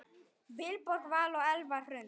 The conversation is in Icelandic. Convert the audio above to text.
Vilborg Vala og Eva Hrund.